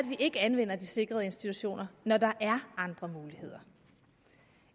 ikke anvender de sikrede institutioner når der er andre muligheder